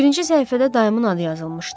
Birinci səhifədə dayımın adı yazılmışdı.